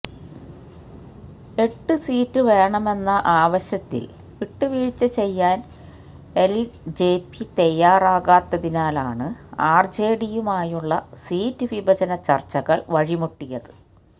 എട്ടു സീറ്റ് വേണമെന്ന ആവശ്യത്തില് വിട്ടുവീഴ്ച ചെയ്യാന് എല്ജെപി തയാറാകാത്തതിനാലാണ് ആര്ജെഡിയുമായുള്ള സീറ്റ് വിഭജന ചര്ച്ചകള് വഴിമുട്ടിയത്